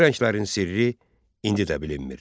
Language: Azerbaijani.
Bu rənglərin sirri indi də bilinmir.